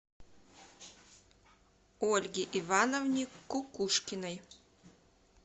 ольге ивановне кукушкиной